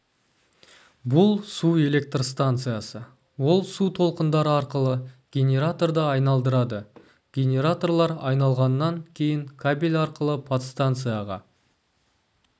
бұл су электр станциясы ол су толқындары арқылы генераторды айналдырады генераторлар айналғаннан кейін кабель арқылы подстанцияға